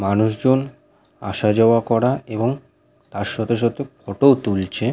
মানুষজন আসা- যাওয়া করা এবং তার সাথে সাথে ফটো - ও তুলছে।